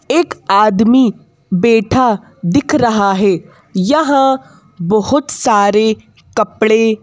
एक आदमी बैठा दिख रहा है यहां बहुत सारे कपड़े--